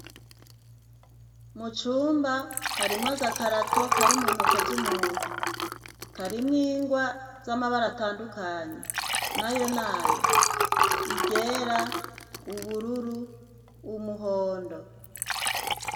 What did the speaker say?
Mu cumba harimwo agakarato kari mu ntoke z'umuntu, karimwo ingwa z'amabara atandukanye nayo ni aya: iryera, ubururu, umuhondo.